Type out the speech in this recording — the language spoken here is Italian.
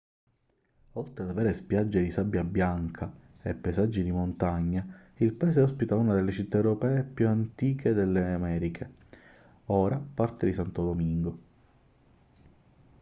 oltre ad avere spiagge di sabbia bianca e paesaggi di montagna il paese ospita una delle città europee più antiche delle americhe ora parte di santo domingo